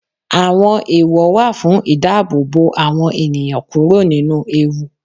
Àwọn ẹ̀èwọ̀ wà fún ìdáàbòbò àwọn ènìyàn kúrò nínú ewu.